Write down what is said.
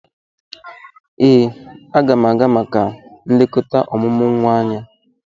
Ee, a ga m aga maka nlekota omumu nwa anya.